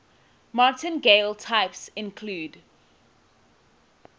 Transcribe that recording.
martingale types include